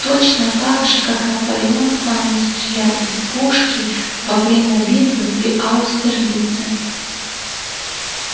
точно так же как наполеон сам не стрелял из пушки во время битвы при аустерлице